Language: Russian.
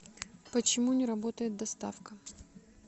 почему не работает доставка